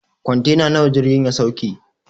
Kwantena nawa jirgin ya sauke?